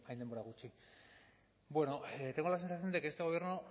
denbora gutxi bueno tengo la sensación de que este gobierno